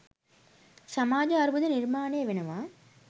සමාජ අර්බුද නිර්මාණය වෙනවා.